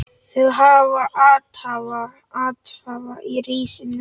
Þau hafa athvarf í risinu.